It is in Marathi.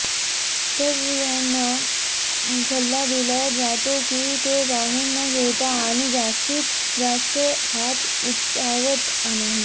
तज्ज्ञांना सल्ला दिला जातो की ते वाहून न घेता आणि जास्तीत जास्त हात उंचावत नाही